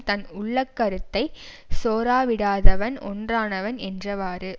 தன் உள்ள கருத்தை சோரவிடாதவன் ஒற்றனாவன் என்றவாறு